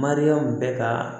Mariyamu bɛ ka